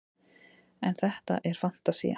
en þetta er fantasía